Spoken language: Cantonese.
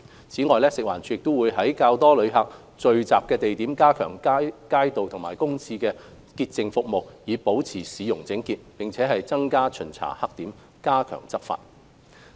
此外，食物環境衞生署會在較多旅客聚集的地點加強街道和公廁潔淨服務，以保持市容整潔，並增加巡查黑點，加強執法。